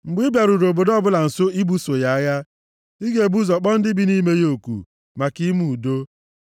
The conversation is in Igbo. Mgbe ị bịaruru obodo ọbụla nso ibuso ya agha, ị ga-ebu ụzọ kpọọ ndị bi nʼime ya oku, maka ime udo.